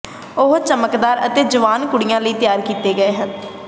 ਉਹ ਚਮਕਦਾਰ ਅਤੇ ਜਵਾਨ ਕੁੜੀਆਂ ਲਈ ਤਿਆਰ ਕੀਤੇ ਗਏ ਹਨ